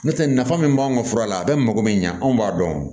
N'o tɛ nafa min b'an ka fura la a bɛ mako bɛ ɲɛ anw b'a dɔn